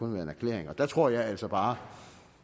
en erklæring der tror jeg altså bare